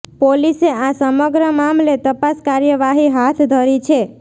પોલીસે આ સમગ્ર મામલે તપાસ કાર્યવાહી હાથ ધરી છે